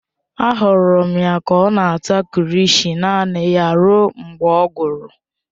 Ahụrụ m ya ka ọ na-ata kilishi naanị ya ruo mgbe ọ gwụrụ.